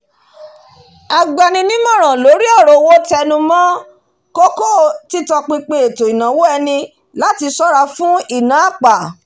agba ni nímòràn lórí ọ̀rọ̀ owó tẹnumọ́ kókó títọpinpin ètò ìnáwó ẹni láti sọ́ra fún ìná àpà